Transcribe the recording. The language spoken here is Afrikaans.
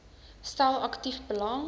stel aktief belang